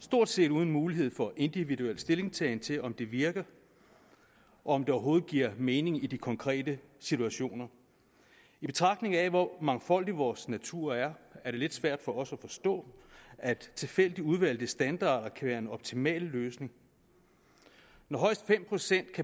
stort set uden mulighed for individuel stillingtagen til om det virker og om det overhovedet giver mening i de konkrete situationer i betragtning af hvor mangfoldig vores natur er er det lidt svært for os at forstå at tilfældigt udvalgte standarder kan være en optimal løsning når højst fem procent af